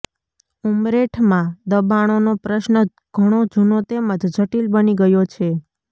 ઉમરેઠમાં દબાણોનો પ્રશ્ન ઘણો જૂનો તેમજ જટીલ બની ગયો છે